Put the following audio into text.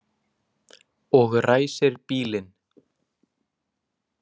Og ræsir bílinn.